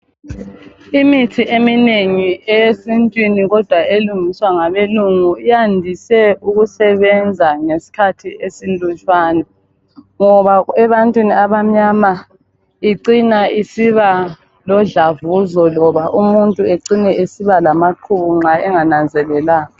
Imithi eminengi eyesintwini kodwa elungiswa ngabelungu iyandise ukusebenza ngesikhathi esilutshwane. Ngoba ebantwini abamnyama icina isiba lodlavuzo loba umuntu ecina esiba lamaqubu nxa engananzelelanga.